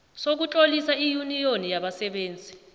sokutlolisa iyuniyoni yabasebenzi